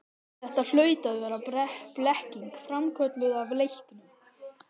Þetta hlaut að vera blekking, framkölluð af reyknum.